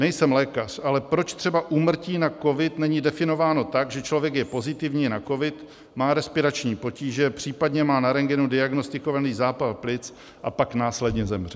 Nejsem lékař, ale proč třeba úmrtí na covid není definováno tak, že člověk je pozitivní na covid, má respirační potíže, případně má na rentgenu diagnostikovaný zápal plic a pak následně zemře.